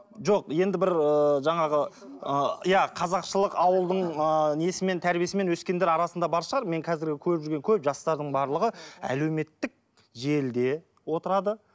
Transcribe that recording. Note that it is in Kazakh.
жоқ енді бір ыыы жаңағы ыыы иә қазақшылық ауылдың ыыы несімен тәрбиесімен өскендер арасында бар шығар мен қазіргі көріп жүрген көп жастардың барлығы әлеуметтік желіде отырады